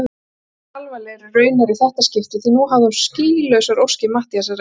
Mun alvarlegri raunar í þetta skipti því nú hafði hún skýlausar óskir Matthíasar að engu.